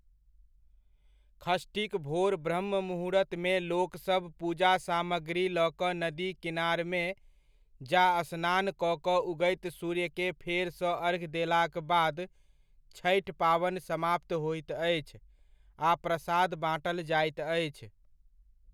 षष्ठीक भोर ब्रहृममुहूर्तमे लोकसभ पूजासामग्री लऽ कऽ नदी किनारमे जा स्नान कऽ कऽ उगैत सूर्यके फेरसँ अर्घ्य देलाक बाद छठि पाबनि समाप्त होइत अछि आ प्रसाद बाँटल जाइत अछि।